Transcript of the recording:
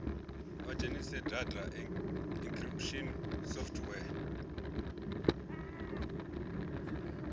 vha dzhenise data encryption software